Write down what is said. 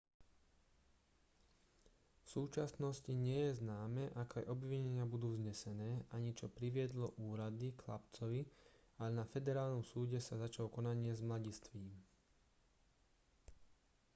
v súčasnosti nie je známe aké obvinenia budú vznesené ani čo priviedlo úrady k chlapcovi ale na federálnom súde sa začalo konanie s mladistvým